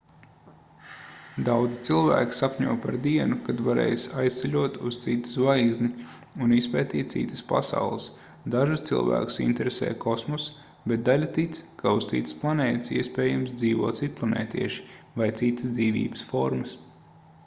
daudzi cilvēki sapņo par dienu kad varēs aizceļot uz citu zvaigzni un izpētīt citas pasaules dažus cilvēkus interesē kosmoss bet daļa tic ka uz citas planētas iespējams dzīvo citplanētieši vai citas dzīvības formas